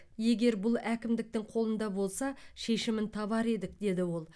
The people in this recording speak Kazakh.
егер бұл әкімдіктің қолында болса шешімін табар едік деді ол